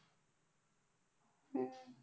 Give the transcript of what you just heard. हम्म